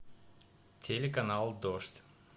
телеканал дождь